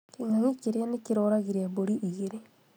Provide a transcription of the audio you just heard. Kĩng'ang'i kĩrĩa nĩkĩroragire mbũri igĩrĩ